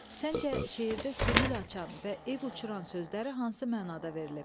Səncə şeirdə könül açan və ev uçuran sözləri hansı mənada verilib?